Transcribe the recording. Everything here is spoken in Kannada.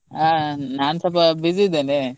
ಹ ನಾನ್ ಸ್ವಲ್ಪ busy ಇದ್ದೇನೆ.